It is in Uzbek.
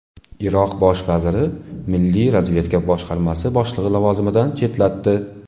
Iroq bosh vaziri milliy razvedka boshqarmasi boshlig‘ini lavozimidan chetlatdi.